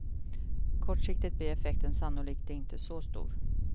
Kortsiktigt blir effekten sannolikt inte så stor.